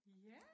Ja